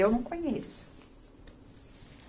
Eu não conheço.